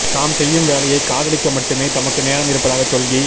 தாம் செய்யும் வேலையைக் காதலிக்க மட்டுமே தமக்கு நேரம் இருப்பதாகச் சொல்கி